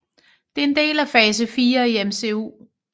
Det er en del af fase fire i MCU